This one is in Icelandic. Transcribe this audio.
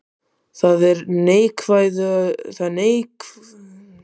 Það er neikvæður hugsunarháttur, sagði Charles, og getur aldrei stuðlað að ósviknu siðgæði.